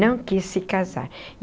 Não quis se casar.